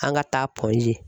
An ka taa G.